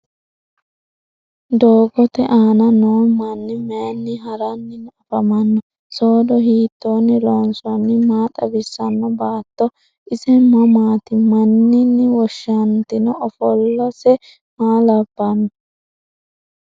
Doogotte aanna noo manni mayiinni haraanni afammanno? Soodo hiittonni loonsoonni? Maa xawisanno? Baatto ise mamaatti? Maninni woshanntanno? Offolose maa labbanno?